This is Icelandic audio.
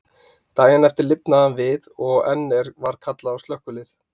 Daginn eftir lifnaði hann við aftur, og enn var kallað á slökkvilið.